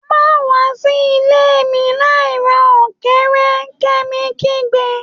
Ma wa si ile mi lai ra ọkẹrẹ!, Kemi kigbe